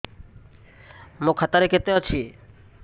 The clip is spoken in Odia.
ମୋ ଖାତା ରେ କେତେ ଅଛି